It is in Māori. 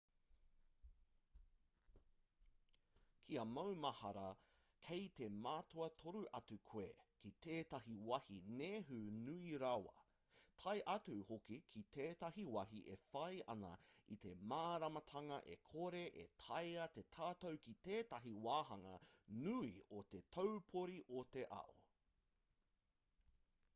kia maumahara kei te mātua toro atu koe ki tētahi wāhi nehu nui rawa tae atu hoki ki tētahi wāhi e whai ana i te māramatanga e kore e taea te tatau ki tētahi wāhanga nui o te taupori o te ao